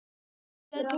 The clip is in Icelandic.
Torfey, spilaðu tónlist.